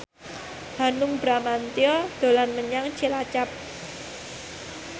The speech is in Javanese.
Hanung Bramantyo dolan menyang Cilacap